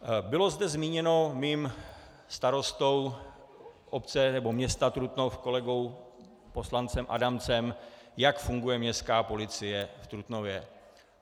Bylo zde zmíněno mým starostou obce, nebo města Trutnov, kolegou poslancem Adamcem, jak funguje Městská policie v Trutnově.